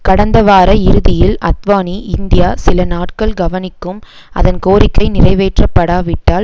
கடந்த வார இறுதியில் அத்வானி இந்தியா சில நாட்கள் கவனிக்கும் அதன் கோரிக்கை நிறைவேற்றப்படாவிட்டால்